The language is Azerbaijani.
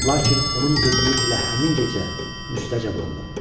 Lakin onun dediyi elə həmin gecə müstəcəb oldu.